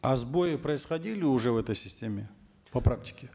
а сбои происходили уже в этой системе по практике